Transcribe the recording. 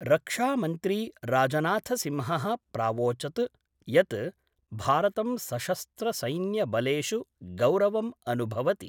रक्षामंत्री राजनाथसिंहः प्रावोचत् यत् भारतं सशस्त्रसैन्यबलेषु गौरवं अनुभवति।